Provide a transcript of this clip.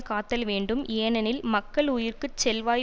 காத்தல் வேண்டும் ஏனெனில் மக்களுயிர்க்குச் செல்வாய்